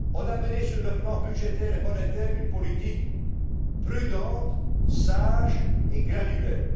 élevés. On a mené, sur le plan budgétaire et monétaire, une politique prudente, sage et graduelle.